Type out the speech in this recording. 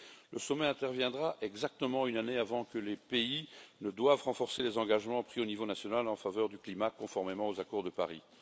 Le sommet interviendra exactement une année avant que les pays ne doivent renforcer les engagements pris au niveau national en faveur du climat, conformément aux accords de Paris.